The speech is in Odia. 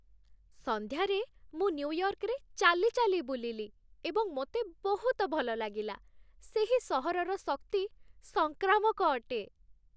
ସନ୍ଧ୍ୟାରେ ମୁଁ ନ୍ୟୁୟର୍କରେ ଚାଲିଚାଲି ବୁଲିଲି ଏବଂ ମୋତେ ବହୁତ ଭଲ ଲାଗିଲା। ସେହି ସହରର ଶକ୍ତି ସଂକ୍ରାମକ ଅଟେ।